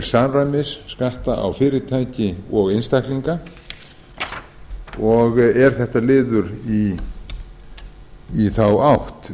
samræmis skatta á fyrirtæki og einstaklinga og er þetta liður í þá átt